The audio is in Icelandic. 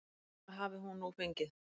Það hafi hún nú fengið.